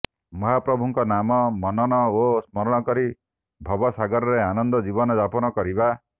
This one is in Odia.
ମହାପ୍ରଭୁଙ୍କ ନାମ ମନନ ଓ ସ୍ମରଣ କରି ଭବ ସାଗରରେ ଆନନ୍ଦ ଜୀବନ ଯାପନ କରିବା